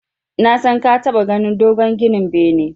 Nasan ka taɓa ganin dogon ginin bene.